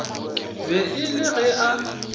be e le ge a